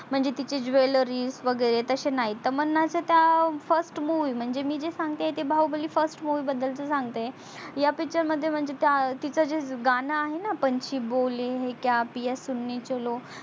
म्हणजे तिचे jewelry वगेरे तसे नाही तमन्नाचे त्यात first movie म्हणजे मी जे सांगते आहे ते बाहुबली first movie बदल सांगते आहे या picture मध्ये म्हणजे तीच जे गाण आहे णा पंछी बोले हे कया पिया सूणे चलो